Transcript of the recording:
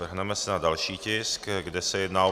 Vrhneme se na další tisk, kde se jedná o